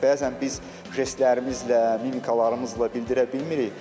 Bəzən biz jestlərimizlə, mimikalarımızla bildirə bilmirik.